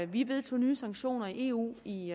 vi vedtog nye sanktioner i eu i